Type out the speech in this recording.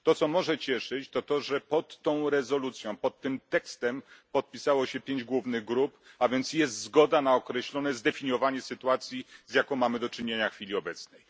To, co może cieszyć, to to, że pod tą rezolucją, pod tym tekstem podpisało się pięć głównych grup, a więc jest zgoda na określone zdefiniowanie sytuacji, z jaką mamy do czynienia w chwili obecnej.